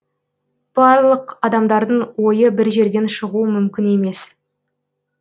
барлық адамдардың ойы бір жерден шығуы мүмкін емес